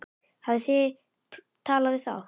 Hafið þið talað við þá?